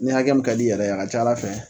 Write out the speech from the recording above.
Ni hakɛ min ka di i yɛrɛ ye a ka ca ata fɛ